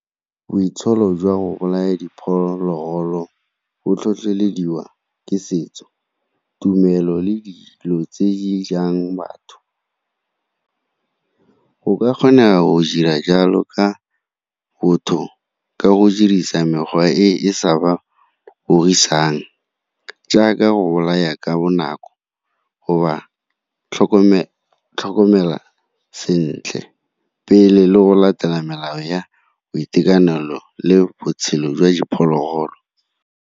Boitsholo jwa go bolaya diphologolo bo tlhotlhelediwa ke setso, tumelo le dilo tse jang batho. Go ka kgonega go dira jalo ka botho, ka go dirisa mekgwa e e sa ba jaaka go bolaya ka bonako, go ba tlhokomela sentle pele le go latela melao ya boitekanelo le botshelo jwa diphologolo.